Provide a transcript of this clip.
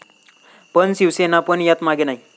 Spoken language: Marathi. पण शिवसेना पण यात मागे नाही.